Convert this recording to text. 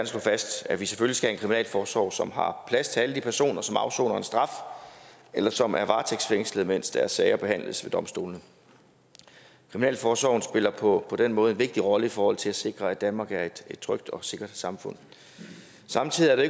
slå fast at vi selvfølgelig kriminalforsorg som har plads til alle de personer som afsoner en straf eller som er varetægtsfængslet mens deres sager behandles ved domstolene kriminalforsorgen spiller på den måde en vigtig rolle i forhold til at sikre at danmark er et trygt og sikkert samfund samtidig er det